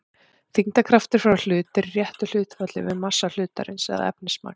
þyngdarkraftur frá hlut er í réttu hlutfalli við massa hlutarins eða efnismagn